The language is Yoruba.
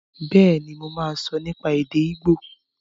Bẹ́ẹ̀ni, mo máa sọ nípa èdè ígbò